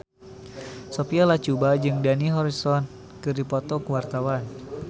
Sophia Latjuba jeung Dani Harrison keur dipoto ku wartawan